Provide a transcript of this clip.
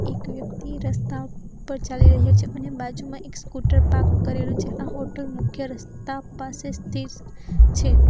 એક વ્યક્તિ રસ્તા ઉપર ચાલી રહ્યો છે અને બાજુમાં એક સ્કૂટર પાક કરેલું છે આ હોટલ મુખ્ય રસ્તા પાસે સ્થિત છે.